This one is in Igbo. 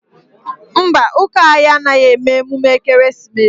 Mba, ụka anyị anaghị eme emume ekereesimesi